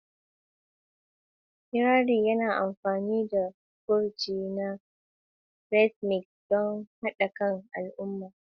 Kirari yana amfani da furci na rhythmic don haɗa kan daidaikun mutane.